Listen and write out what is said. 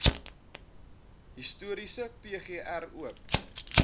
historiese pgr oop